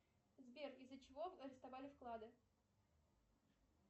сбер из за чего арестовали вклады